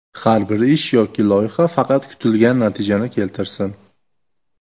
Har bir ish yoki loyiha faqat kutilgan natijani keltirsin.